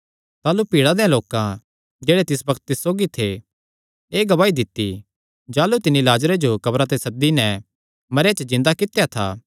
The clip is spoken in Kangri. ताह़लू भीड़ा देयां लोकां जेह्ड़े तिस बग्त तिस सौगी थे एह़ गवाही दित्ती जाह़लू तिन्नी लाजरे जो कब्रा ते सद्दी नैं मरेयां च जिन्दा कित्या था